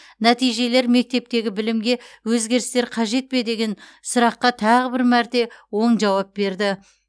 нәтижелер мектептегі білімге өзгерістер қажет пе деген сұраққа тағы бір мәрте оң жауап берді